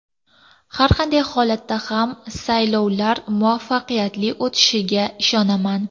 Har qanday holatda ham saylovlar muvaffaqiyatli o‘tishiga ishonaman.